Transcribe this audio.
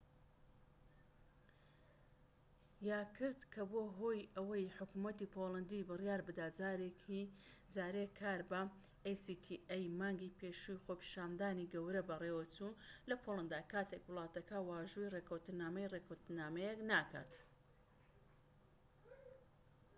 مانگی پێشوو خۆپیشاندانی گەورە بەڕێوەچوو لە پۆڵەندا کاتێك وڵاتەکە واژۆی ڕێکەوتنامەی actaی کرد کە بووە هۆی ئەوەی حکومەتی پۆڵەندی بڕیای بدات جارێ کار بەم ڕێکەوتنامەیە نەکات